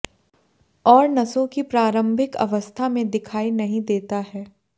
और नसों की प्रारंभिक अवस्था में दिखाई नहीं देता है